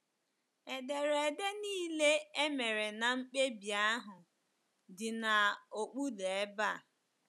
Ederede nile e mere na mkpebi ahụ dị n’okpuru ebe a.